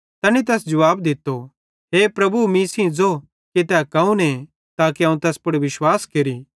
तैनी तैस जुवाब दित्तो हे प्रभु मीं सेइं ज़ो कि तै कौने ताके अवं तैस पुड़ विश्वास केरि